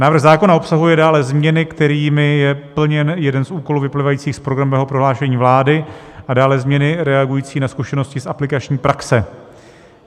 Návrh zákona obsahuje dále změny, kterými je plněn jeden z úkolů vyplývajících z programového prohlášení vlády, a dále změny reagující na zkušenosti z aplikační praxe.